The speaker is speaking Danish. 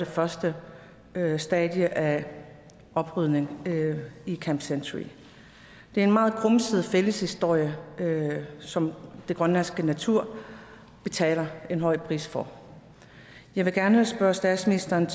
første stadie af oprydningen i camp century det er en meget grumset fælles historie som den grønlandske natur betaler en høj pris for jeg vil gerne spørge statsministeren